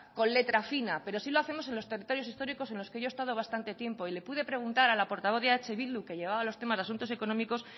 con letra fina pero sí lo hacemos en los territorios históricos en los que yo he estado bastante tiempo y le pude preguntar a la portavoz de eh bildu que llevaba los temas de asuntos económicos